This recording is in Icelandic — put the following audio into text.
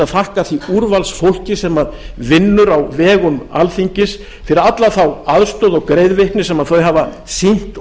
þakka því úrvalsfólki sem vinnur á vegum alþingis fyrir alla þá aðstoð og greiðvikni sem þau hafa sýnt